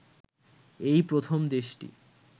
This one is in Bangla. এই প্রথম দেশটি